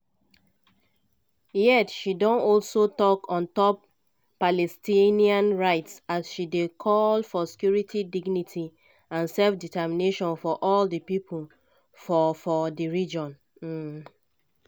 yet she don also tok on top palestinian rights as she dey call for security dignity and self-determination for all di pipo for for di region. um